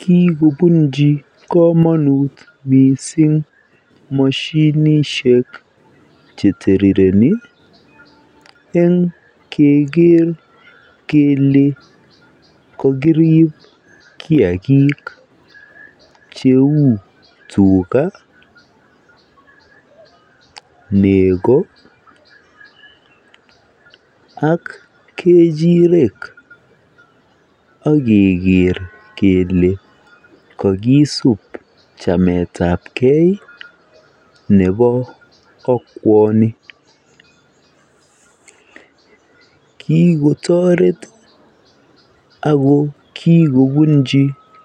Kikobunji komonut mising moshinishek cheterireni eng keker kele kokiriib kiagik cheu tugga, nego ak kechirek akeker kele kakisub chametabkei nebo okwoni. Kikotoret ako kikobunji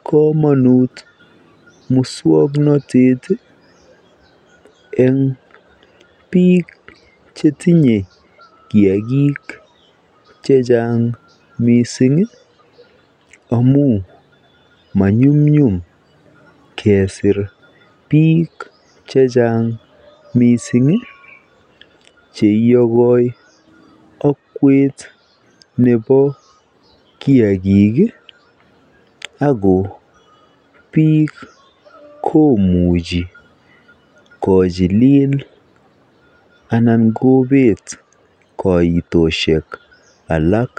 komonut mising muswoknotet eng biik chetinye kiagik chechang amu manyumnyum kesiir biik chechang cheiyokoi okwet nebo kiagik ako biik komuchi kochiliil anan kobeet koitosiek alak.